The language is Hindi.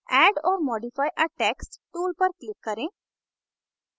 add or modify a text tool पर click करें